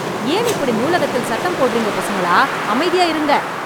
ஏன் இப்படி நூலகத்தில் சத்தம் போடறீங்க பசங்களா அமைதியா இருங்க